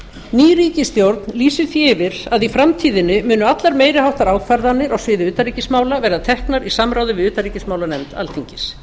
ný ríkisstjórn lýsir því yfir að í framtíðinni munu allar meiri háttar ákvarðanir á sviði utanríkismála verða teknar í samráði við utanríkismálanefnd alþingis